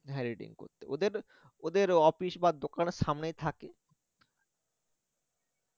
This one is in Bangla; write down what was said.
হ্যা editing করতে ওদের ওদের office বা দোকানের সামনেই থাকে